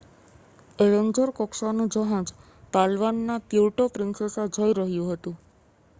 Avenger કક્ષાનું જહાજ પાલવાનના પ્યુર્ટો પ્રિન્સેસા જઈ રહ્યું હતું